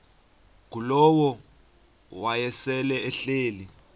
ngulowo wayesel ehleli